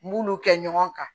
N b'olu kɛ ɲɔgɔn kan